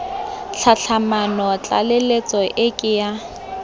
tlhatlhamano tlaleletso e ke ya